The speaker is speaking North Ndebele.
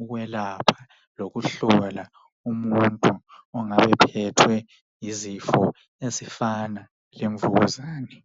ukwelapha lokuhlola umuntu ophethwe yizifo ezifana lemvukuzane.